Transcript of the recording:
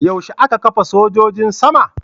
Yaushe aka kafa sojojin sama?